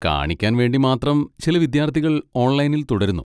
കാണിക്കാൻ വേണ്ടി മാത്രം ചില വിദ്യാർത്ഥികൾ ഓൺലൈനിൽ തുടരുന്നു.